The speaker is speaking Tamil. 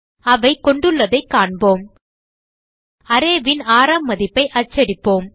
அவை கொண்டுள்ளதை காண்போம் arrayன் ஆறாம் மதிப்பை அச்சடிப்போம்